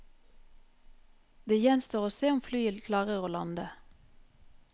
Det gjenstår å se om flyet klarer å lande.